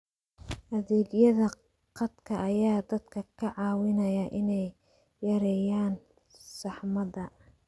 Adeegyada khadka ayaa dadka ka caawinaya inay yareeyaan saxmadda.